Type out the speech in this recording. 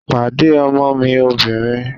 Pàdé ọmọ mi obìnrin!